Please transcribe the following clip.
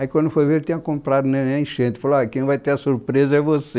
Aí quando foi ver, ele tinha comprado o ali na enchente, falou, olha, quem vai ter a surpresa é você.